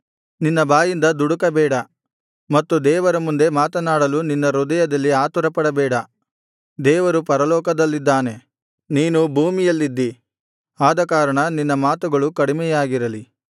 ನಿನ್ನ ಬಾಯಿಂದ ದುಡುಕಬೇಡ ಮತ್ತು ದೇವರ ಮುಂದೆ ಮಾತನಾಡಲು ನಿನ್ನ ಹೃದಯದಲ್ಲಿ ಆತುರಪಡಬೇಡ ದೇವರು ಪರಲೋಕದಲ್ಲಿದ್ದಾನೆ ನೀನು ಭೂಮಿಯಲ್ಲಿದ್ದಿ ಆದಕಾರಣ ನಿನ್ನ ಮಾತುಗಳು ಕಡಿಮೆಯಾಗಿರಲಿ